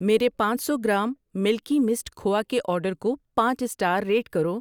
میرے پانچ سو گرام ملکی مسٹ کھووا کے آرڈر کو پانچ سٹار ریٹ کرو۔